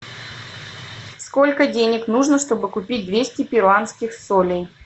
сколько денег нужно чтобы купить двести перуанских солей